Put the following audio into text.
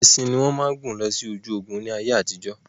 Ẹṣin ní wọ́n máa ń gùn lọ sí ojú ogún ni ayé àtijọ́.